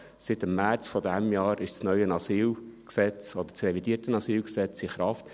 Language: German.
Seit dem März dieses Jahres ist das neue AsylG, oder das revidierte AsylG, in Kraft.